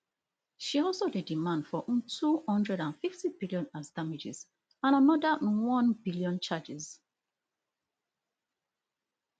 she also dey demand for ntwo hundred and fifty billion as damages and anoda none billion charges